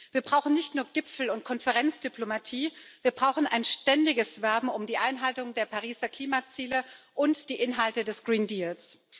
Wir brauchen nicht nur Gipfel und Konferenzdiplomatie, wir brauchen ein ständiges Werben um die Einhaltung der Pariser Klimaziele und die Inhalte des Grünen Deals.